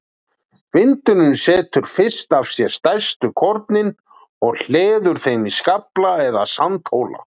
Vindurinn setur fyrst af sér stærstu kornin og hleður þeim í skafla eða sandhóla.